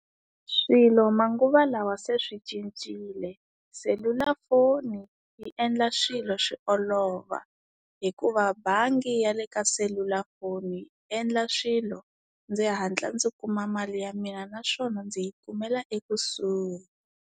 Swilo manguva lawa se swi cincile. Selulafoni, yi endla swilo swi olova. Hikuva bangi ya le ka selulafoni yi endla swilo, ndzi hatla ndzi kuma mali ya mina naswona ndzi yi kumela ekusuhi.